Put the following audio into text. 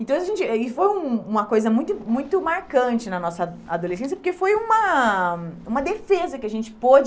Então a gente aí foi um uma coisa muito muito marcante na nossa adolescência, porque foi uma uma defesa que a gente pôde